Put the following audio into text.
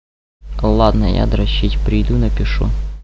ладно я дрочить приду напишу